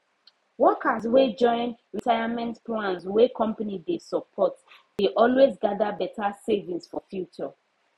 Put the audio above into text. workers wey join retirement plans wey company dey support dey always gather better savings for future